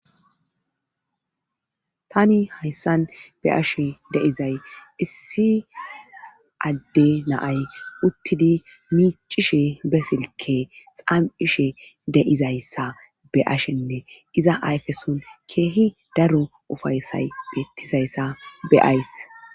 Tani hayssan be ashe deizay issi adde naay uttidi micishe besilke xamishe deizayssa be ashenne iza ayfeson keehi daro ufaysay bettizayssa be ays.